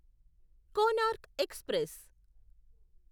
Konark express